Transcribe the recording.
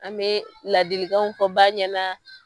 An bɛ ladilikanw fɔ ba ɲɛna